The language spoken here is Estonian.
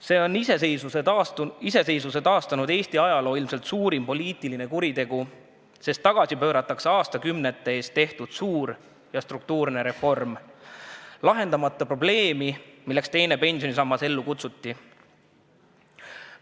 See on iseseisvuse taastanud Eesti ajaloo ilmselt suurim poliitiline kuritegu, sest tagasi pööratakse aastakümnete eest tehtud suur ja struktuurne reform, ilma et lahendataks probleemi, milleks teine pensionisammas ellu kutsuti.